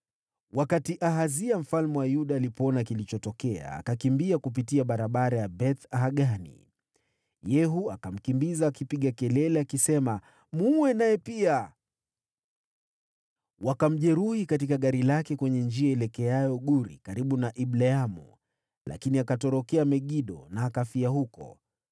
Wakati Ahazia mfalme wa Yuda alipoona kilichotokea, akakimbia kupitia barabara ya Beth-Hagani. Yehu akamkimbiza akipaza sauti na kusema, “Muue naye pia!” Wakamjeruhi katika gari lake kwenye njia ielekeayo Guri karibu na Ibleamu, lakini akatorokea Megido na akafia huko.